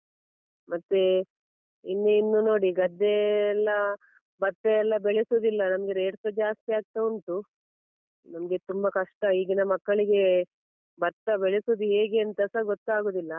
ಮತ್ತೆ ಇನ್ನು ಇನ್ನು ನೋಡಿ ಗದ್ದೆ ಎಲ್ಲಾ ಭತ್ತ ಎಲ್ಲ ಬೆಳೆಸುದಿಲ್ಲ ನಮ್ಗೆ rate ಸ ಜಾಸ್ತಿ ಆಗ್ತಾ ಉಂಟು. ನಮ್ಗೆ ತುಂಬ ಕಷ್ಟ ಈಗಿನ ಮಕ್ಕಳಿಗೆ ಭತ್ತ ಬೆಳೆಸುದು ಹೇಗೆ ಅಂತಸಾ ಗೊತ್ತಾಗುದಿಲ್ಲ.